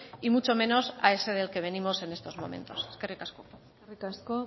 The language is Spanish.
y muchos menos a ese del que venimos en estos momentos eskerrik asko eskerrik asko